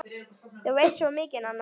Þú veist svo mikið, Nanna!